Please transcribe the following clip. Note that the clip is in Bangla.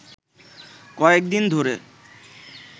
কয়েক দিন ধরে